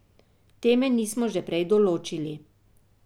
Teme nismo že prej določili.